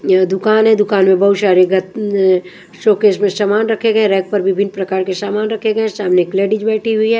दुकान है दुकान में बहुत सारे शोकेस में सामान रखे गए हैं रैक पर विभिन्न प्रकार के सामान रखे गए हैं सामने एक लेडीज बैठी हुई है।